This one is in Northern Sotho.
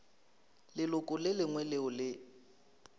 leloko le lengwe leo le